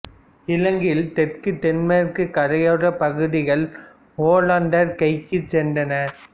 இலங்கையில் தெற்கு தென்மேற்குக் கரையோரப் பகுதிகள் ஒல்லாந்தர் கைக்குச் சென்றன